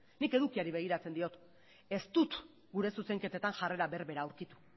nik edukiari begiratzen diot ez dut gure zuzenketetan jarrera berbera aurkitu